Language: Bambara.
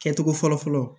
Kɛcogo fɔlɔ fɔlɔ